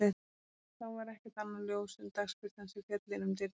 Þá var ekkert annað ljós en dagsbirtan sem féll inn um dyrnar.